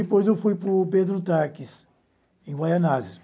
Depois eu fui para o Pedro Taques, em Guaianases.